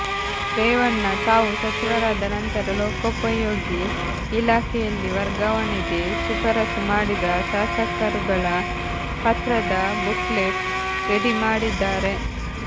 ರೇವಣ್ಣ ತಾವು ಸಚಿವರಾದ ನಂತರ ಲೋಕೋಪಯೋಗಿ ಇಲಾಖೆಯಲ್ಲಿ ವರ್ಗಾವಣೆಗೆ ಶಿಫಾರಸ್ಸು ಮಾಡಿದ ಶಾಸಕರುಗಳ ಪತ್ರದ ಬುಕ್ಲೆಟ್ ರೆಡಿ ಮಾಡಿದ್ದಾರೆ